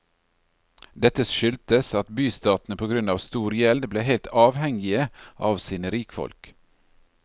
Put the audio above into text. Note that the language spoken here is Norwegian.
Dette skyldtes at bystatene på grunn av stor gjeld ble helt avhengige av sine rikfolk.